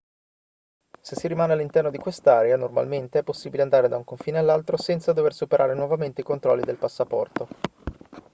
se si rimane all'interno di quest'area normalmente è possibile andare da un confine all'altro senza dover superare nuovamente i controlli del passaporto